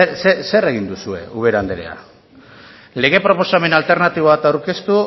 zer egin duzue ubera anderea lege proposamena alternatibo bat aurkeztu